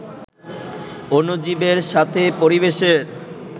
অণুজীবের সাথে পরিবেশের